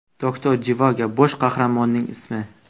Doktor Jivago – bosh qahramonning ismi.